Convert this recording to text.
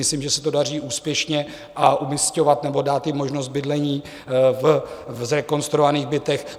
Myslím, že se to daří úspěšně, umisťovat nebo dát jim možnost bydlení v zrekonstruovaných bytech.